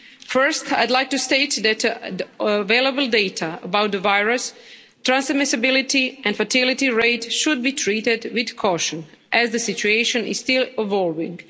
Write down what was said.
First, I'd like to state that available data about the virus transmissibility and fatality rates should be treated with caution as the situation is still evolving.